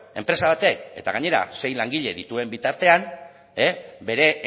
enpresa batek eta gainera sei langile dituen bitartean bere